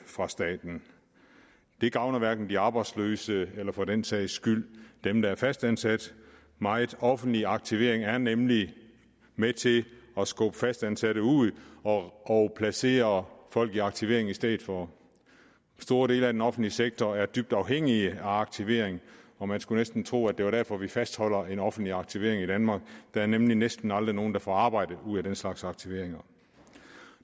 fra staten det gavner hverken de arbejdsløse eller for den sags skyld dem der er fastansatte meget offentlig aktivering er nemlig med til at skubbe fastansatte ud og placere folk i aktivering i stedet for store dele af den offentlige sektor er dybt afhængige af aktivering og man skulle næsten tro at det er derfor vi fastholder en offentlig aktivering i danmark der er nemlig næsten aldrig nogen der får arbejde ud af den slags aktivering